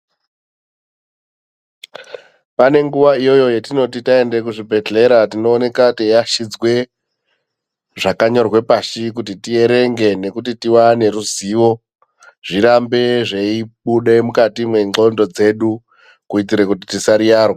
Pane nguva iyoyo yetinoti taende kuzvibhehlera tinooneka teiachidzwe zvakanyorwe pashi kuti tierenge nekuti tiwane ruzivo zvirambe zveibude mukati mwendxondo dzedu kuitire kuti tisariyarwa.